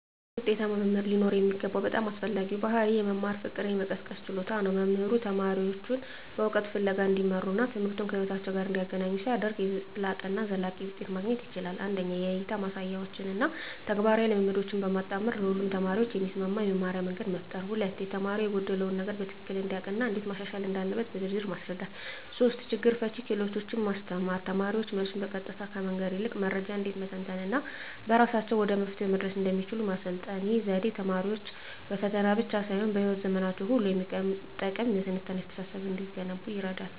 አንድ ውጤታማ መምህር ሊኖረው የሚገባው በጣም አስፈላጊው ባሕርይ የመማር ፍቅርን የመቀስቀስ ችሎታ ነው። መምህሩ ተማሪዎቹን በእውቀት ፍለጋ እንዲመሩና ትምህርቱን ከሕይወታቸው ጋር እንዲያገናኙ ሲያደርግ፣ የላቀና ዘላቂ ውጤት ማግኘት ይቻላል። 1) የእይታ ማሳያዎችን እና ተግባራዊ ልምምዶችን በማጣመር ለሁሉም ተማሪዎች የሚስማማ የመማርያ መንገድ መፍጠር። 2)ተማሪው የጎደለውን ነገር በትክክል እንዲያውቅ እና እንዴት ማሻሻል እንዳለበት በዝርዝር ማስረዳት። 3)ችግር ፈቺ ክህሎቶችን ማስተማር: ተማሪዎች መልሱን በቀጥታ ከመንገር ይልቅ መረጃን እንዴት መተንተን እና በራሳቸው ወደ መፍትሄው መድረስ እንደሚችሉ ማሰልጠን። ይህ ዘዴ ተማሪዎች በፈተና ብቻ ሳይሆን በሕይወት ዘመናቸው ሁሉ የሚጠቅም የትንታኔ አስተሳሰብ እንዲገነቡ ይረዳል።